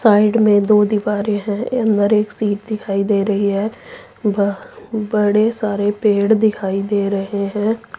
Side में दो दीवारे हैं अंदर एक सीट दिखाई दे रही है बड़े सारे पेड़ दिखाई दे रहे हैं।